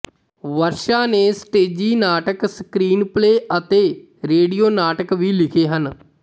ਵਰਸ਼ਾ ਨੇ ਸਟੇਜੀ ਨਾਟਕ ਸਕ੍ਰੀਨਪਲੇ ਅਤੇ ਰੇਡੀਓ ਨਾਟਕ ਵੀ ਲਿਖੇ ਹਨ